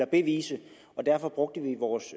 bevises og derfor brugte vi vores